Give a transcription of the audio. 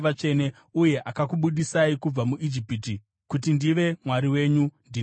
uye akakubudisai kubva muIjipiti kuti ndive Mwari wenyu. Ndini Jehovha.”